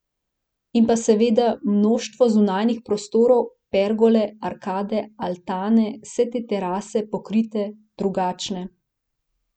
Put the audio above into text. In pa seveda mnoštvo zunanjih prostorov, pergole, arkade, altane, vse te terase, pokrite, drugačne.